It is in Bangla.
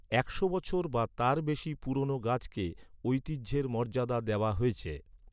একশো বছর বা তার বেশি পুরনো গাছকে ঐতিহ্যের মর্যাদা দেওয়া হয়েছে।